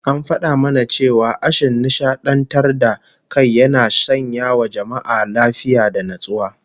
An fada mana cewa ashin nishadantar da kai yana sanyawa jama'a lafiya da natsuwa